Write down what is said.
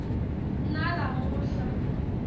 nalamuhla